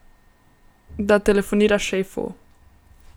Da telefonira šefu.